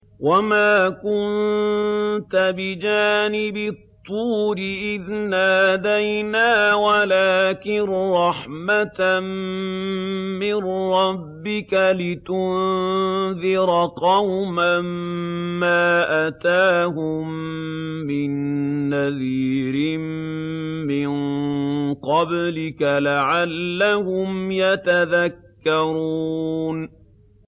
وَمَا كُنتَ بِجَانِبِ الطُّورِ إِذْ نَادَيْنَا وَلَٰكِن رَّحْمَةً مِّن رَّبِّكَ لِتُنذِرَ قَوْمًا مَّا أَتَاهُم مِّن نَّذِيرٍ مِّن قَبْلِكَ لَعَلَّهُمْ يَتَذَكَّرُونَ